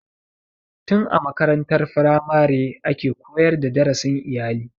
Tin a makarantar firamare ake koyar da darasin iyali.